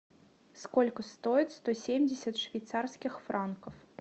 сколько стоит сто семьдесят швейцарских франка